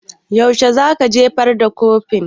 Yaushe za ka jefar da kurfin?